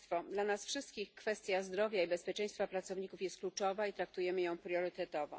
Dla nas wszystkich kwestia zdrowia i bezpieczeństwa pracowników jest kluczowa i traktujemy ją priorytetowo.